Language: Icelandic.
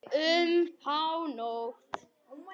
Um hánótt.